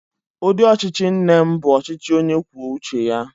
Ụdị ọchịchị nne m bụ ọchịchị onye kwuo uche ya.